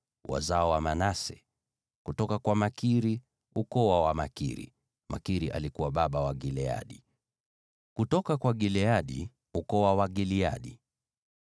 Wazao wa Manase: kutoka kwa Makiri, ukoo wa Wamakiri (Makiri alikuwa baba wa Gileadi); kutoka kwa Gileadi, ukoo wa Wagileadi.